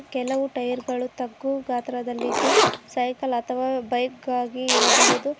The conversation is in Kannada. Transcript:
ಕೆಲವು ಟೈಯರ್ ಗಳು ತಗ್ಗು ಗಾತ್ರದಲ್ಲಿ ಇದ್ದು ಸೈಕಲ್ ಅಥವಾ ಬೈಕ್ ಆಗಿ ಇರಬಹುದು.